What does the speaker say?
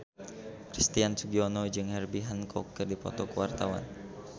Christian Sugiono jeung Herbie Hancock keur dipoto ku wartawan